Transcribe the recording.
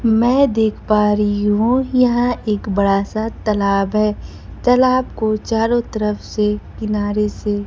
मैं देख पा रही हूं यह एक बड़ा सा तलाब है तलाब को चारों तरफ से किनारे से--